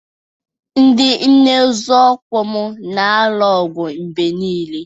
Ndị nne nzọụkwụ m na-alụ ọgụ mgbe niile